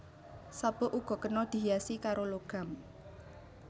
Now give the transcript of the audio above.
Sabuk uga kena dihiasi karo logam